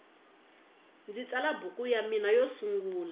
ndzi tsala buku ya mina yo sungula